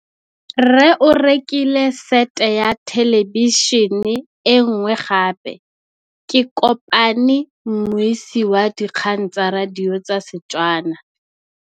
Rre o rekile sete ya thêlêbišênê e nngwe gape. Ke kopane mmuisi w dikgang tsa radio tsa Setswana.